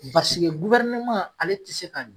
basike ale ti se ka d